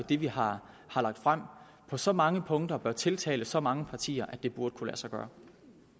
det vi har har lagt frem på så mange punkter bør tiltale så mange partier at det burde kunne lade sig gøre